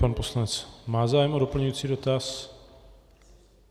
Pan poslanec má zájem o doplňující dotaz.